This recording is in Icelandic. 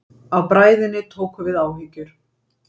Af bræðinni tóku við áhyggjur.